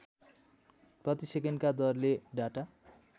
प्रतिसेकेन्डका दरले डाटा